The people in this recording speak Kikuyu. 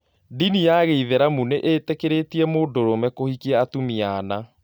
Dini ya gĩithĩramu nĩ itĩkĩrĩtie mũndũrũme kũhikia atumia ana